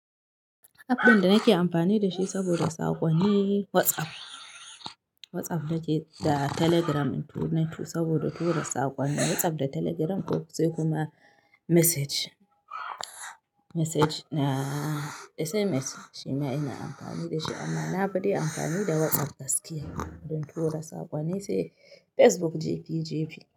App ɗin da nake amfani da shi saboda saƙo ne WhatsApp. WhatsApp nake da Telegram in tu na tu saboda tura da saƙo ne. WhatsApp da Telegram ko sai kuma message, message na SMS shima ina amfani da shi amma na fi amfani da WhatsApp gaskiya don two da saƙo. Na yi sai Facebook jefi jefi.